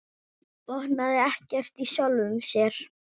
Botnaði ekkert í sjálfum sér.